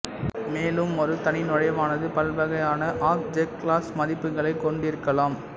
மேலும் ஒரு தனி நுழைவானது பல்வகையான ஆப்ஜெக்ட்க்ளாஸஸ் மதிப்புகளைக் கொண்டிருக்கலாம்